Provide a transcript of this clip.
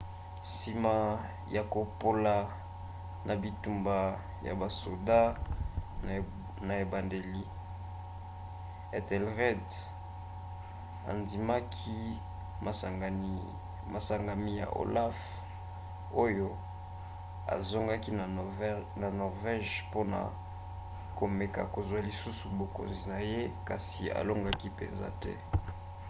nsima ya kopola na bitumba ya basoda na ebandeli ethelred andimaki masengami ya olaf oyo azongaki na norvège mpona komeka kozwa lisusu bokonzi na ye kasi alongaki mpenza te